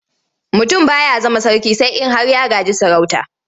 Mutum ba ya zama sarki sai in har ya gaji sarauta.